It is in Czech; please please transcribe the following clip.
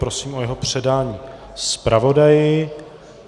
Prosím o jeho předání zpravodaji.